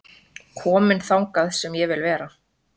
Kominn þangað sem ég vil vera